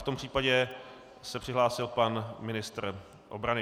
V tom případě se přihlásil pan ministr obrany.